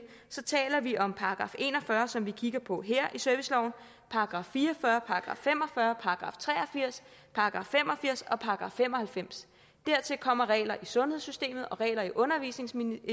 så taler vi om § en og fyrre som vi kigger på her i serviceloven § fire og fyrre § fem og fyrre § tre og firs § fem og firs og § fem og halvfems dertil kommer regler i sundhedssystemet og regler i undervisningsloven